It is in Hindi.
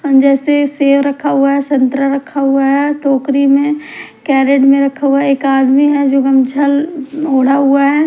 जैसे सेव रखा हुआ है संतरा रखा हुआ है टोकरी में कैरेट में रखा हुआ एक आदमी है जो गमछा ओढ़ा हुआ है।